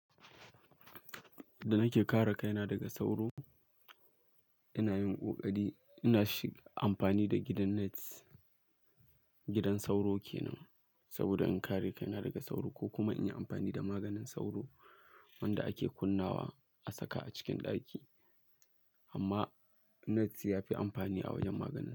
Da nake kare kaina daga sauro, ina yin ƙoƙari ina fi amfani da gidan nets. Gidan sauro kenan, saboda in kare kaina daga sauro ko kuma in yi amfani da maganin sauro wanda ake kunnawa a saka a cikin ɗaki. Amma nets ya fi amfani a wajen maganin.